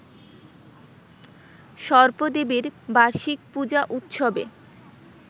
সর্পদেবীর বার্ষিক পূজা উৎসবে